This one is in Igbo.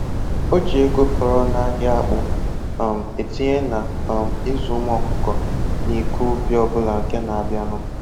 O ji ego fọrọ n'ahịa akpụ um etinye na um ịzụ ụmụ ọkụkọ na ịkọ ubi ọbụla nke na abịanụ